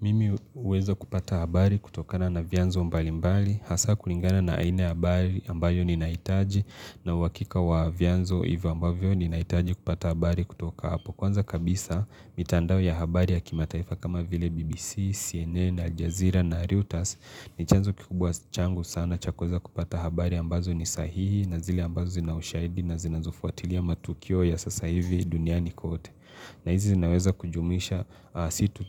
Mimi huweza kupata habari kutokana na vianzo mbali mbali, hasa kulingana na aina habari ambayo ni naitaji na uwakika wa vianzo iva ambayo ni naitaji kupata habari kutoka hapo. Kwanza kabisa, mitandao ya habari ya kimataifa kama vile BBC, CNN, Aljazeera, Narutas, ni chanzo kikubwa changu sana chakoza kupata habari ambazo ni sahihi na zile ambazo zinaushaidi na zinazofuatilia matukio ya sasa hivi duniani kote. Na hizi zinaweza kujumisha situ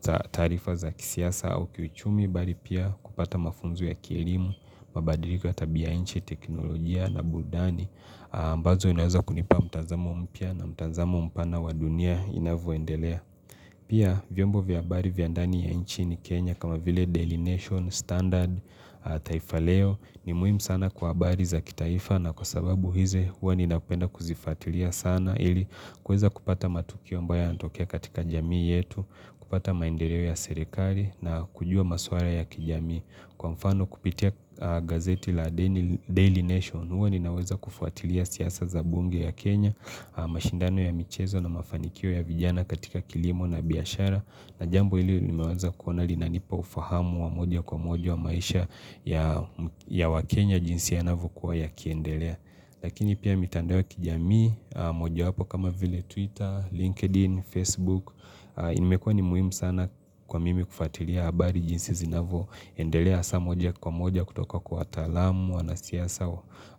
za tarifa za kisiasa au kiuchumi bali pia kupata mafunzo ya kielimu, mabadiliko ya tabia inchi, teknolojia na burudani, mbazo inaweza kunipa mtanzamo mpya na mtanzamo mpana wa dunia inavyoendelea. Pia vyombo vyabari vya ndani ya inchi ni Kenya kama vile daily nation standard taifa leo ni muhimu sana kwa habari za kitaifa na kwa sababu hizo hua ninapenda kuzifuatilia sana ili kueza kupata matukio mbaya yatokea katika jamii yetu, kupata maendeleo ya serekari na kujua maswala ya kijamii. Kwa mfano kupitia gazeti la Daily Nation huwa ninaweza kufuatilia siasa za bunge ya Kenya mashindano ya michezo na mafanikio ya vijana katika kilimo na biashara na jambo hili nimeweza kuona linanipa ufahamu wa moja kwa moja wa maisha ya wa Kenya jinsi yanavyo kuwa ya kiendelea Lakini pia mitandao ya kijami, moja wapo kama vile Twitter, LinkedIn, Facebook imekuwa ni muhimu sana kwa mimi kufatilia habari jinsi zinavyo endelea hasa moja kwa moja kutoka kwa watalamu wanasiasa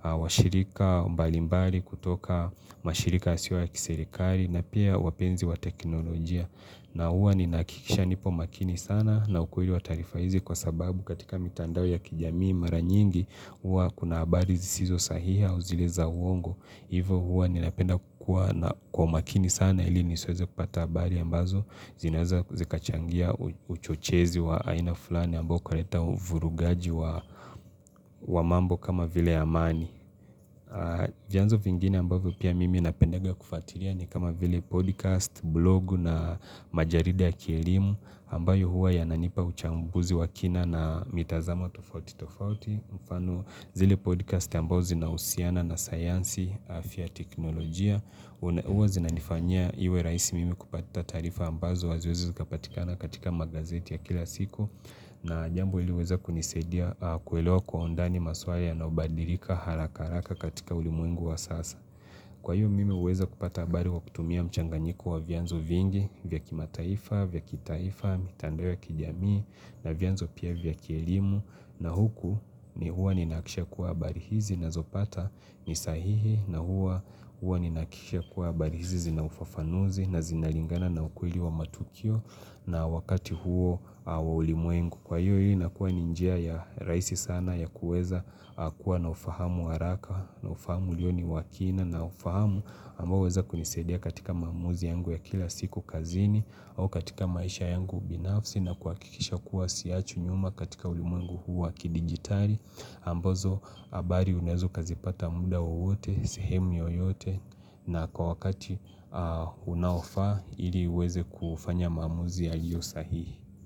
wa shirika mbalimbali kutoka mashirika yasio ya kiserekali na pia wapenzi wa teknolojia na huwa ni nahakikisha nipo makini sana na ukweli wa tarifa hizi wa sababu katika mitandao ya kijamii mara nyingi huwa kuna habari zisizo sahihi au zile za uongo hivyo huwa ni napenda kukua kwa makini sana na ili nisoweze kupata habari ambazo zinaweza zikachangia uchochezi wa aina fulani ambao ukaleta uvurugaji wa mambo kama vile ya mani. Vianzo vingine ambavyo pia mimi napendega kufatilia ni kama vile podcast, blog na majarida ya kielimu ambayo huwa yananipa uchambuzi wa kina na mitazama tofauti tofauti. Mfano zile podcast ambao zinahusiana na sayansi afya teknolojia huwa zinanifanya iwe rahisi mimi kupata tarifa ambazo waziwezi kapatikana katika magazeti ya kila siku na jambo ili uweza kunisedia kuelewa kwa undani masuala yanayobadilika harakaharaka katika ulimuengu wa sasa Kwa hiyo mimi weza kupata habari wakutumia mchanganyiku wa vianzo vingi vya kimataifa, vyakitaifa, mitandao ya kijamii na vianzo pia vyakielimu na huku ni huwa ni nakisha kuwa habari hizi ninazopata ni sahihi na huwa huwa nahakisha kuwa habari hizi na ufafanuzi na zinalingana na ukweli wa matukio na wakati huo wa ulimuengu kwa hiyo hii na kuwa ni njia ya raisi sana ya kueza hakuwa na ufahamu waraka na ufahamu liyo ni wakina na ufahamu amba uweza kunisadia katika mamuzi yangu ya kila siku kazini au katika maisha yangu binafsi na kuakikisha kuwa siachwi nyuma katika ulimuengu huwa kidigitali ambazo habari unaweza ukazipata muda wowote, sehemu oyote na kwa wakati unaofa ili uweze kufanya maamuzi aliyo sahihi.